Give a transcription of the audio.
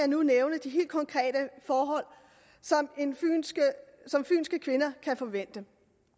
nu nævne de helt konkrete forhold som fynske kvinder kan forvente